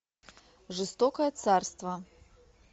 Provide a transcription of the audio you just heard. жестокое царство